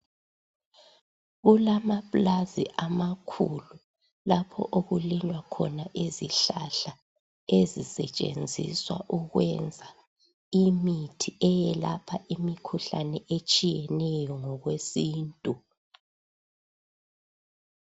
Kulamapulazi amakhulu lapho okulinywa khona izihlahla ezisetshenziswa ukwenza imithi eyelapha imikhuhlane etshiyeneyo ngokwesintu.